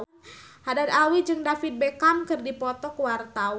Haddad Alwi jeung David Beckham keur dipoto ku wartawan